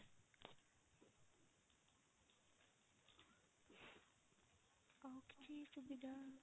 ଆଉ କିଛି ସୁବିଧା?